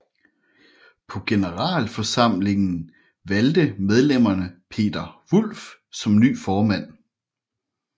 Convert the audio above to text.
På generalforsamling valgte medlemmerne Peter Wulff som ny formand